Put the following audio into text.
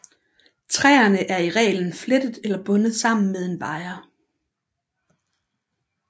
Træerne er i reglen flettet eller bundet sammen med en wire